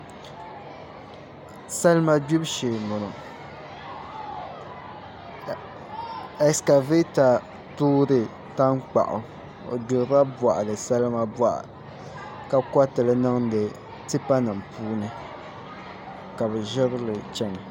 Salima gbibu shee n boŋo ɛskavɛta toori tankpaɣu o gbirila boɣali salima boɣa ka koritili niŋdi tipa nim puuni ka bi ʒirili chɛna